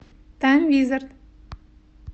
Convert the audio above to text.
тайм визард